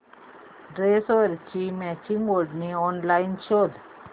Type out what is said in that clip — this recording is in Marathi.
ड्रेसवरची मॅचिंग ओढणी ऑनलाइन शोध